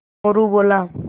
मोरू बोला